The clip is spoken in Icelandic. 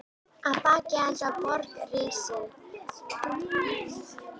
Að baki hans var borg risin.